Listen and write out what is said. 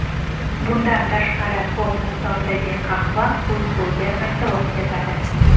Bundan tashqari, ko‘p miqdordagi qahva uyquga ta’sir o‘tkazadi.